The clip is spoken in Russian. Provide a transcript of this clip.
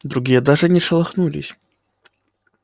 другие даже не шелохнулись